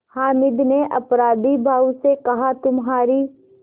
हामिद ने अपराधीभाव से कहातुम्हारी